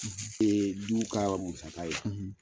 Ee du ka musaga ye.